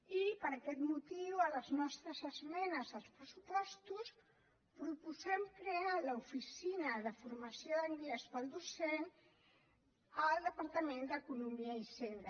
i per aquest motiu a les nostres esmenes als pressupostos proposem crear l’oficina de formació d’anglès per al docent al departament d’economia i hisenda